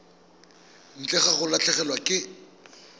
ntle ga go latlhegelwa ke